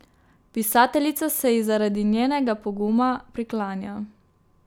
Pisateljica se ji zaradi njenega poguma priklanja.